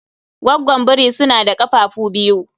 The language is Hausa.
Goggon biri suna da kafafuwa biyu